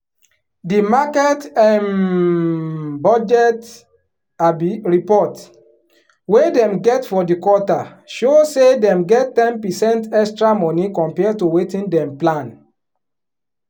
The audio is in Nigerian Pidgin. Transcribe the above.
di market um budget um report wey dem get for di quarter show say dem get ten percent extra money compare to wetin dem plan.